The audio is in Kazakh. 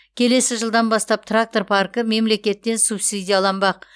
келесі жылдан бастап трактор паркі мемлекеттен субсидияланбақ